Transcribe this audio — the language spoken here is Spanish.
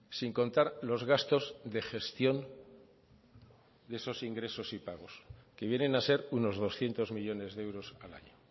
sin contar los gastos de gestión de esos ingresos y pagos que vienen a ser unos doscientos millónes de euros al año